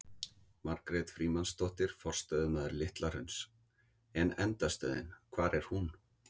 Margrét Frímannsdóttir, forstöðumaður Litla hrauns: En endastöðin, hvar er hún?